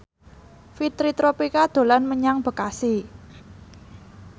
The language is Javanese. Fitri Tropika dolan menyang Bekasi